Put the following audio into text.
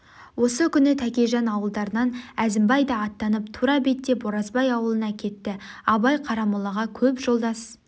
осы күні тәкежан ауылдарынан әзімбай да аттанып тура беттеп оразбай аулына кетті абай қарамолаға көп жолдас